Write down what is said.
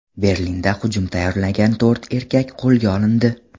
Berlinda hujum tayyorlagan to‘rt erkak qo‘lga olindi.